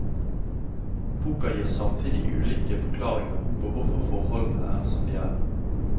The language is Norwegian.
Boka gir samtidig ulike forklaringer på hvorfor forholdene er som de er.